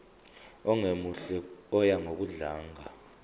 ongemuhle oya ngokudlanga